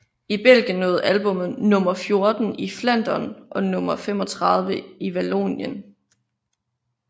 I Belgien nåede albummet nummer fjorten i Flandern og nummer 35 i Vallonien